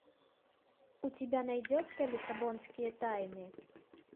у тебя найдется лиссабонские тайны